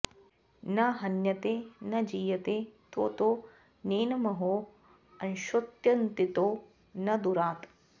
न हन्यते न जीयते त्वोतो नैनमंहो अश्नोत्यन्तितो न दूरात्